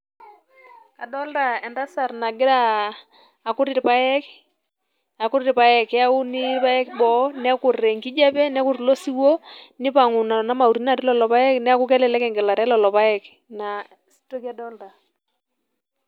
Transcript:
Adolta entasat nagiraa akut irpaek, akut irpaek. Keuni irpaek boo, nekut enkijape, nekut ilo siwuo, nipang'u nena mauti natii lelo paek, neku kelelek egelata elelo paek. Ina toki adolta.